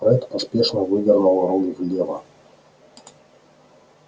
фред поспешно вывернул руль влево